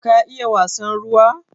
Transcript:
Ka iya wasan ruwa?